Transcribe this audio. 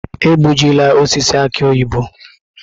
Egbujịla osisi aki oyibo!